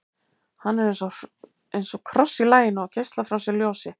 hann er eins og kross í laginu og geislar frá sér ljósi